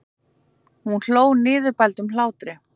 Hún hló niðurbældum hlátri.